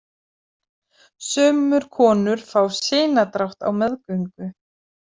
Sumur konur fá sinadrátt á meðgöngu.